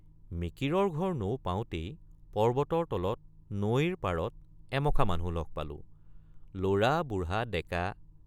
মিকিৰৰ ঘৰ নৌ পাওঁতেই পৰ্বতৰ তলত নৈৰ পাৰত এমখা মানুহ লগ পালোঁ—লৰা বুঢ়া ডেকা।